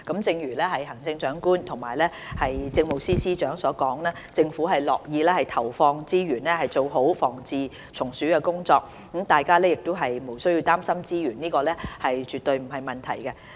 正如行政長官及政務司司長所說，政府樂意投放資源，以改善防治蟲鼠的工作，大家亦無需要擔心，資源方面絕對不成問題。